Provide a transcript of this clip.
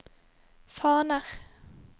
faner